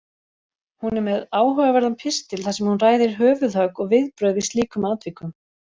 Hún er með áhugaverðan pistil þar sem hún ræðir höfuðhögg og viðbrögð við slíkum atvikum.